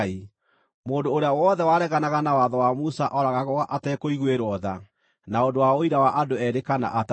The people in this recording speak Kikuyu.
Mũndũ ũrĩa wothe wareganaga na watho wa Musa ooragagwo atekũiguĩrwo tha na ũndũ wa ũira wa andũ eerĩ kana atatũ.